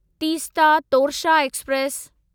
Teesta Torsa express